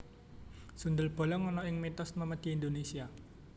Sundel bolong ana ing mitos memedi Indonesia